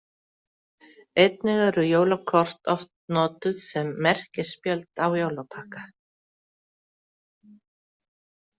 Einnig eru jólakort oft notuð sem merkispjöld á jólapakka.